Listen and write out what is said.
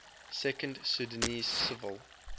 second sudanese civil